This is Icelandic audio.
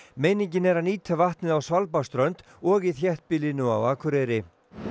meiningin er að nýta vatnið á Svalbarðsströnd og í þéttbýlinu á Akureyri